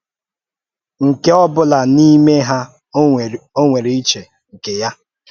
Nke ọ̀bụ́lá n’ìmé ha ọ̀ nwèrè ùchè nke ya?